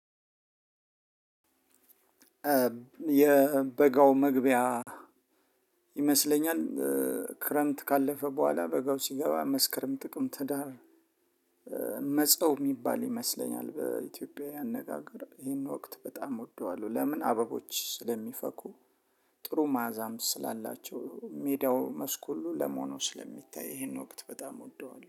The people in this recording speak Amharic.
የበጋው መግቢያ ይመስለኛል። ክረምት ካለፈ በኋላ በጋው ሲገባ መስከረም ጥቅም ህዳር መጸው የሚባል ይመስለኛል በኢትዮጵያ አነጋገር ይሄን ወቅት በጣም እወደዋለሁ። ለምን አበቦች ስለሚፈኩ። ጥሩ ማዕዛም ስላላቸው ሜዳው መስክ ሁሉ ለም ሆኖ ስለሚታይ ይሄንን ወቅት በጣም እወደዋለሁ